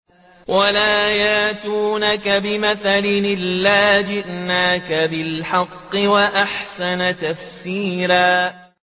وَلَا يَأْتُونَكَ بِمَثَلٍ إِلَّا جِئْنَاكَ بِالْحَقِّ وَأَحْسَنَ تَفْسِيرًا